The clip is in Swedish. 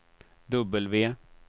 W